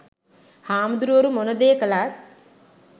හාමුදුරුවරු මොන දේ කළත්